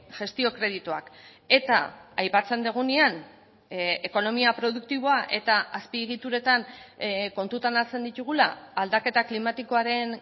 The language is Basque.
gestio kredituak eta aipatzen dugunean ekonomia produktiboa eta azpiegituretan kontutan hartzen ditugula aldaketa klimatikoaren